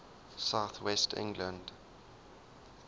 south west england